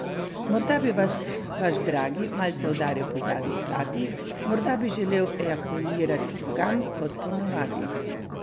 Morda bi vas rad vaš dragi malce udaril po zadnji plati, morda bi želel ejakulirati drugam kot po navadi.